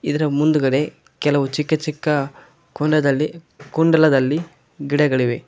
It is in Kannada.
ಇದರ ಮುಂದ್ಗಡೆ ಕೆಲವು ಚಿಕ್ಕ ಚಿಕ್ಕ ಕುಂಡದಲ್ಲಿ ಕುಂಡಲದಲ್ಲಿ ಗಿಡಗಳಿವೆ.